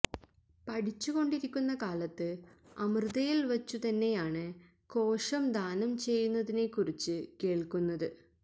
പഠിച്ചു കൊണ്ടിരിക്കുന്ന കാലത്ത് അമൃതയിൽ വച്ചു തന്നെയാണു കോശം ദാനം ചെയ്യുന്നതിനെക്കുറിച്ചു കേൾക്കുന്നത്